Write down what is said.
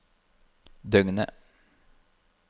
døgnet